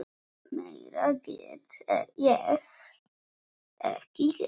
Meira get ég ekki gert.